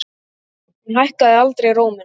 Hún hækkaði aldrei róminn.